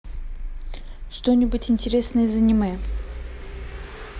что нибудь интересное из аниме